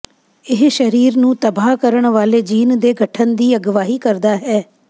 ਇਹ ਸਰੀਰ ਨੂੰ ਤਬਾਹ ਕਰਨ ਵਾਲੇ ਜੀਨ ਦੇ ਗਠਨ ਦੀ ਅਗਵਾਈ ਕਰਦਾ ਹੈ